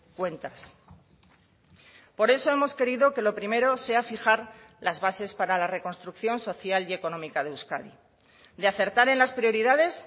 cuentas por eso hemos querido que lo primero sea fijar las bases para la reconstrucción social y económica de euskadi de acertar en las prioridades